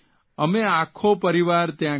અમે આખો પરિવાર ત્યા ગયા